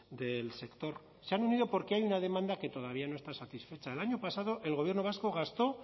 del sector se han unido porque hay una demanda que todavía no está satisfecha el año pasado el gobierno vasco gastó